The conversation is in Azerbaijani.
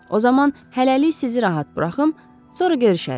O zaman hələlik sizi rahat buraxım, sonra görüşərik.